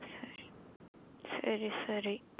சேரி சேரி.